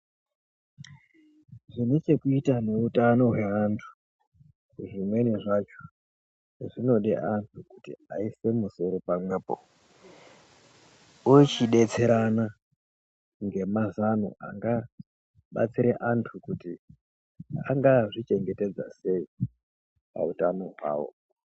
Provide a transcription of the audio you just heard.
Zvine chekuita neutano hwevanthu zvimweni zvacho zvinode anthu kuti aise musoro pamwepo vochi detserana ngemazano anga batsire anthu kuti anga zvichengetedza sei pautano hwao.